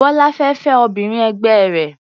Bọ́lá fẹ́ fẹ́ obìnrin ẹgbẹ́ rẹ̀.